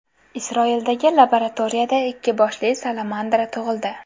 Isroildagi laboratoriyada ikki boshli salamandra tug‘ildi.